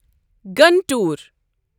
Guntur